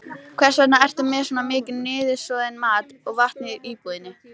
Blóðið rennur úr gáttunum um hjartalokur niður í neðri hjartahólfin sem heita sleglar eða hvolf.